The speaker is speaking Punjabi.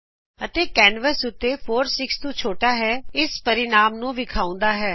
ਅਤੇ ਕੈਨਵਸ ਉਤੇ 4 6 ਤੋ ਛੋਟਾ ਹੁੰਦਾ ਹੈ ਇਸ ਪਰਿਣਾਮ ਨੂੰ ਵਿਖਾਉਂਦਾ ਹੈ